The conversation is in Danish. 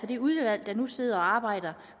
det udvalg der nu sidder og arbejder